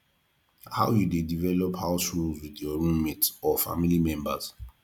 how you dey develop house rules with roommate or family members